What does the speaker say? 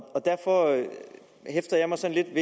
og derfor hæfter jeg mig sådan